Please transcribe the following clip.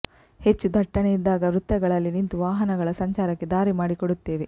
ಹೆಚ್ಚು ದಟ್ಟಣೆ ಇದ್ದಾಗ ವೃತ್ತಗಳಲ್ಲಿ ನಿಂತು ವಾಹನಗಳ ಸಂಚಾರಕ್ಕೆ ದಾರಿ ಮಾಡಿಕೊಡುತ್ತೇವೆ